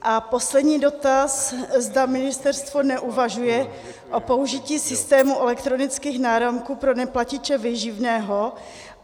A poslední dotaz, zda ministerstvo neuvažuje o použití systému elektronických náramků pro neplatiče výživného.